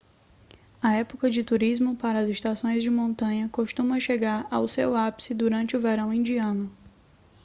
a época de turismo para as estações de montanha costuma chegar ao seu ápice durante o verão indiano